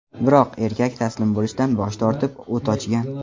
Biroq erkak taslim bo‘lishdan bosh tortib, o‘t ochgan.